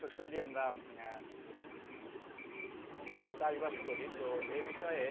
শস্য দিয়ে আমরা চাষবাস করি, তো এ বিষয়ে